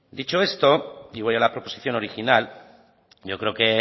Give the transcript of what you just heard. dicho esto y voy a la proposición original yo creo que